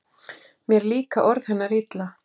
Mér líka orð hennar illa